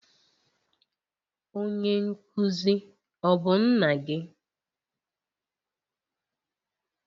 Onye nkuzi ọ bụ nna gị?